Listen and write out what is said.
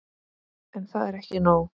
En það er ekki nóg.